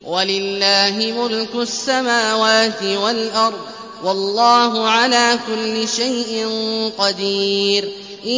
وَلِلَّهِ مُلْكُ السَّمَاوَاتِ وَالْأَرْضِ ۗ وَاللَّهُ عَلَىٰ كُلِّ شَيْءٍ قَدِيرٌ